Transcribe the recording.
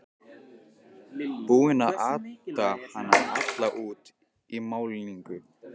Búinn að ata hana alla út í málningu!